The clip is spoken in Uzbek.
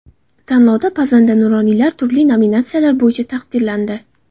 Tanlovda pazanda nuroniylar turli nominatsiyalar bo‘yicha taqdirlandi.